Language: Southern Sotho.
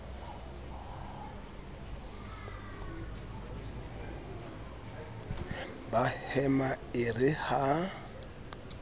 ba hema e re ha